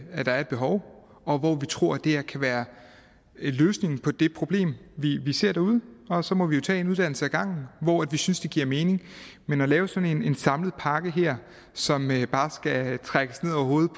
er et behov og hvor vi tror at det her kan være løsningen på det problem vi ser derude og så må vi jo tage én uddannelse ad gangen hvor vi synes det giver mening men at lave sådan en samlet pakke her som bare skal trækkes ned over hovedet